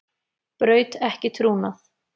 Braut ekki trúnað